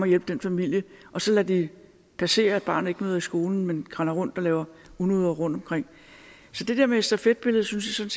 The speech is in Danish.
hjælpe den familie og så lader det passere at barnet ikke møder i skolen men render rundt og lave unoder rundtomkring så det der med stafetbilledet synes jeg